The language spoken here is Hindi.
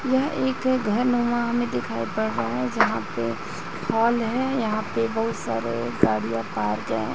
यह एक घरनुमा हमे दिखाई पड़ रहा है जहाँ पे हॉल है यहाँ पे बहुत सारे गाड़िया पार्क है।